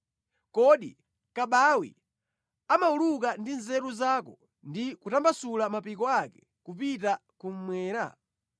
“Kodi kabawi amawuluka ndi nzeru zako, ndi kutambasula mapiko ake kupita kummwera?